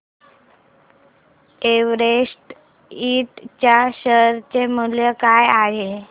Everest इंड च्या share चे मूल्य काय आहे